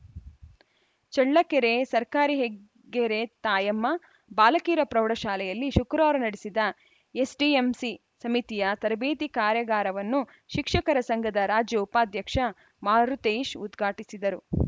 ಚಳ್ಳಕೆರೆ ಸರ್ಕಾರಿ ಹೆಗ್ಗೆರೆ ತಾಯಮ್ಮ ಬಾಲಕಿಯರ ಪ್ರೌಢಶಾಲೆಯಲ್ಲಿ ಶುಕ್ರವಾರ ನಡೆದ ಎಸ್‌ಡಿಎಂಸಿ ಸಮಿತಿಯ ತರಬೇತಿ ಕಾರ್ಯಗಾರವನ್ನು ಶಿಕ್ಷಕರ ಸಂಘದ ರಾಜ್ಯ ಉಪಾಧ್ಯಕ್ಷ ಮಾರುತೇಶ್‌ ಉದ್ಘಾಟಿಸಿದರು